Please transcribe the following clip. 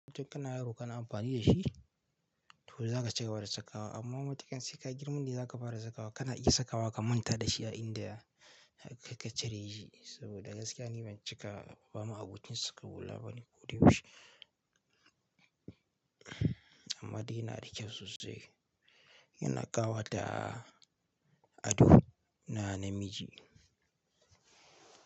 Tun kana yaro kana amfani da shi, to za ka ciga bada sakawa. Amma matuƙan sai ka girma ne za ka fara sakawa, kana iya sakawa ka manta da shi a inda ka cire shi. Saboda gaskiya ni ban cika ba ma abocin saka hula bane ko da yaushe. Amma dai yana da kyau sosai. Yana ƙawata ado na namiji.